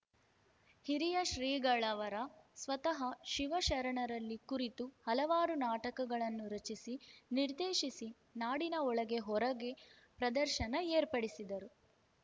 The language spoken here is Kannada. ಹಿರಿಯ ಶ್ರೀಗಳವರ ಸ್ವತಃ ಶಿವಶರಣರಲ್ಲಿ ಕುರಿತು ಹಲವಾರು ನಾಟಕಗಳನ್ನು ರಚಿಸಿ ನಿರ್ದೇಶಿಸಿ ನಾಡಿನ ಒಳಗೆ ಹೊರಗೆ ಪ್ರದರ್ಶನ ಏರ್ಪಡಿಸಿದ್ದರು